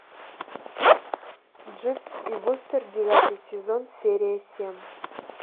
дживс и вустер девятый сезон серия семь